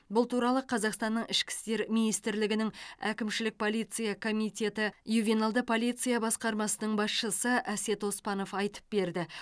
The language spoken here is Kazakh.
бұл туралы қазақстанның ішкі істер министрлігінің әкімшілік полиция комитеті ювеналды полиция басқармасының басшысы әсет оспанов айтып берді